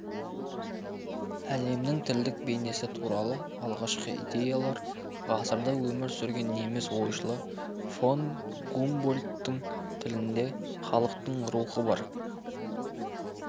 әлемнің тілдік бейнесі туралы алғашқы идеялар ғасырда өмір сүрген неміс ойшылы фон гумбольдттің тілде халықтың рухы бар